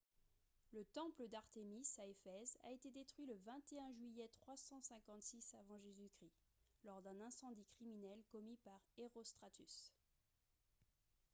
le temple d'artémis à ephèse a été détruit le 21 juillet 356 avant j.-c. lors d'un incendie criminel commis par herostratus